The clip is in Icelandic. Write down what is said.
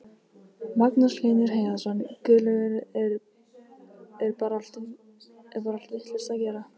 Magnús Hlynur Hreiðarsson: Guðlaugur, er bar allt vitlaust að gera?